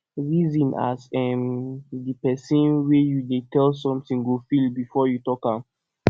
reason as um de pesin wey you dey tell something go feel before you talk am